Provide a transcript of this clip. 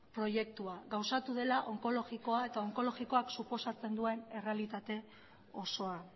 proiektua eta onkologikoak suposatzen duen errealitate osoa